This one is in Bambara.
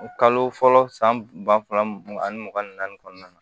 Kalo fɔlɔ san ba fila mugan ani mugan ni naani kɔnɔna na